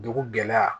Dugu gɛlɛya